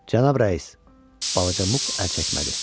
Cənab rəis, balaca Muq əl çəkmədi.